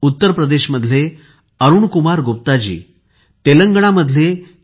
उत्तर प्रदेशमधले अरुणकुमार गुप्ताजी तेलंगणामधले के